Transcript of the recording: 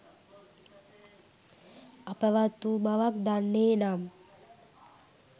අපවත් වූ බවක් දන්නේ නම්